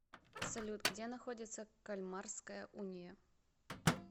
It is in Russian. салют где находится кальмарская уния